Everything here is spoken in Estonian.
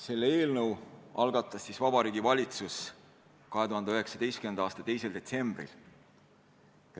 Selle eelnõu algatas Vabariigi Valitsus 2019. aasta 2. detsembril.